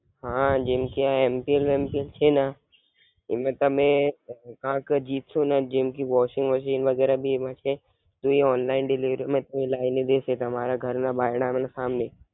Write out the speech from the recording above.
હાં જેમ કે આ એમ પી એલ રમમી ને છે ના એમાં તમે કારણ કે જીતશો ને જેમકે washing machine વગેરે ભી એમા છે. તો એ online delivery માં હું લાઈને દેશે તમારા ઘર ના બારણાં માં ને સામને